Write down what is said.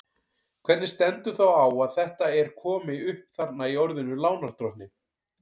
Hvernig stendur þá á að þetta er komi upp þarna í orðinu lánardrottinn?